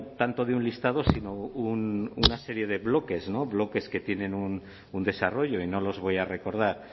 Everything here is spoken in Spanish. tanto de un listado sino una serie de bloques bloques que tienen un desarrollo y no los voy a recordar